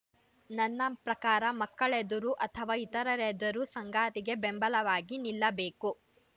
ನನ್ನ ಪ್ರಕಾರ ಮಕ್ಕಳೆದುರು ಅಥವಾ ಇತರರೆದುರು ಸಂಗಾತಿಗೆ ಬೆಂಬಲವಾಗಿ ನಿಲ್ಲಬೇಕು